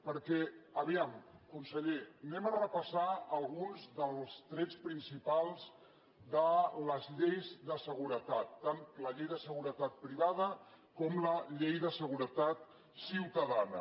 perquè vejam conseller repassem alguns dels trets principals de les lleis de seguretat tant la llei de seguretat privada com la llei de seguretat ciutadana